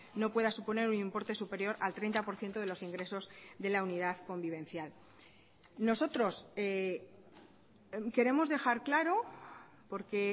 no pueda suponer un importe superior al treinta por ciento de los ingresos de la unidad convivencial nosotros queremos dejar claro porque